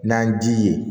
N'an ji ye